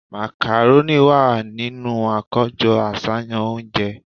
Macaroni wà nínú akojọ aṣayan ounje